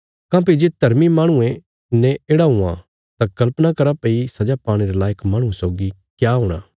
काँह्भई जे धर्मी माहणुये ने येढ़ा हुआं तां कल्पना करा भई सजा पाणे रे लायक माहणुये सौगी क्या हूणा